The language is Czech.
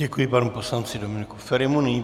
Děkuji panu poslanci Dominiku Ferimu.